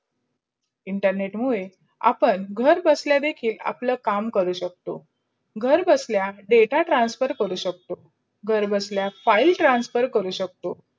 internet मुडे आपण घर बसला देखील आपल्या काम करू शकतो. घर बसल्या data transfer करू शकतो, घर बसल्या file transfer करू शकतो.